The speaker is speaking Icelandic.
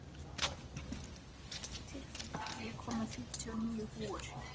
Tyrfingur, ég kom með fimmtíu og níu húfur!